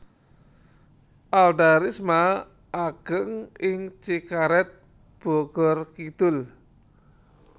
Alda Risma ageng ing Cikaret Bogor Kidul